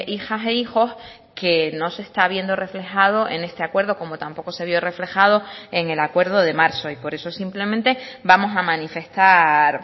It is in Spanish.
hijas e hijos que no se está viendo reflejado en este acuerdo como tampoco se vio reflejado en el acuerdo de marzo y por eso simplemente vamos a manifestar